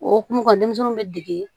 Okumu kɔ denmisɛnninw bɛ dege